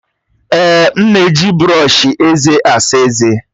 Èè, m na-eji brọọshi eze asa eze.